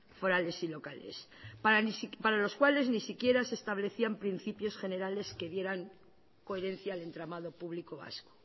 forales y locales para los cuales ni siquiera se establecían principios generales que dieran coherencia al entramado público vasco